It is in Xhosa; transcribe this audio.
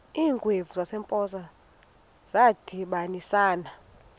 iingwevu zasempoza zadibanisana